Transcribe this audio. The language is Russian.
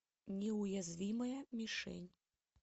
неуязвимая мишень